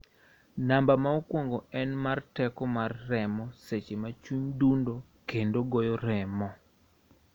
Namba ma okwongo en mar teko mar remo seche ma chuny dundo kendo goyo remo